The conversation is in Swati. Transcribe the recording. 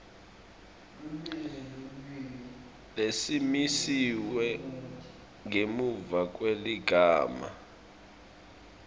lesimisiwe ngemuva kweligama